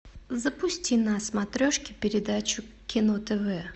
запусти на смотрешке передачу кино тв